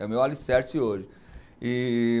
É o meu alicerce hoje. e